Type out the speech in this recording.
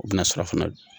O bɛna sɔrɔ fana